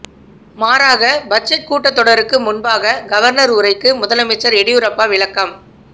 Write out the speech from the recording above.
மாறாக பட்ஜெட் கூட்டத்தொடருக்கு முன்பாக கவர்னர் உரைக்கு முதலமைச்சர் எடியூரப்பா விளக்கம்